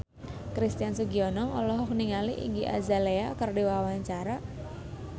Christian Sugiono olohok ningali Iggy Azalea keur diwawancara